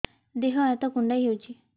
ଦେହ ହାତ କୁଣ୍ଡାଇ ହଉଛି